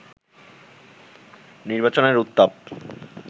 নির্বাচনের উত্তাপ